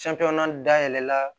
dayɛlɛ la